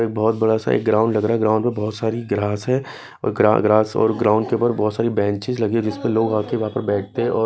बहुत बड़ा सा एक ग्राउंड लग रहा है ग्राउंड में बहुत सारी ग्रास है और ग्रास और ग्राउंड के ऊपर बहुत सारी बेंचेस लगी है जिस पर लोग आके वहां पर बैठते हैं और--